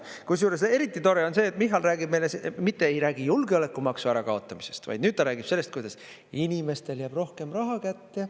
Kusjuures, eriti tore on see, et Michal mitte ei räägi julgeolekumaksu ärakaotamisest, vaid nüüd ta räägib sellest, kuidas inimestele jääb rohkem raha kätte.